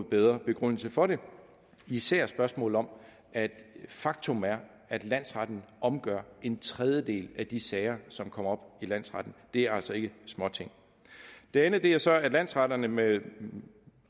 bedre begrundelse for det især i spørgsmålet om at faktum er at landsretten omgør en tredjedel af de sager som kommer op i landsretten det er altså ikke småting det andet er så at landsretterne med